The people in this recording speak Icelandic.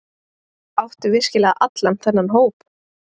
Áttu virkilega allan þennan hóp?